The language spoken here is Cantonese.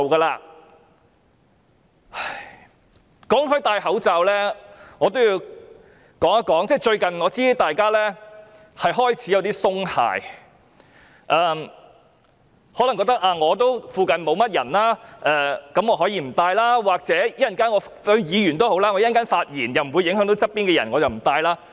談到佩戴口罩，我想說，我知道最近大家開始有點鬆懈，可能覺得自己附近沒有人便可以不戴口罩，或有議員覺得稍後將會發言，如不會影響鄰座同事便不戴口罩了。